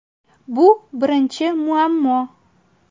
Bu birinchi muammo.